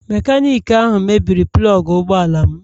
Mekaniki ahụ mebiri plọg ụgbọ ala m.